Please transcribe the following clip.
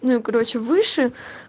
ну и короче выше